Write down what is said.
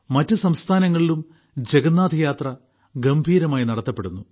മറ്റ് സംസ്ഥാനങ്ങളിലും ജഗന്നാഥയാത്ര ഗംഭീരമായി നടത്തപ്പെടുന്നു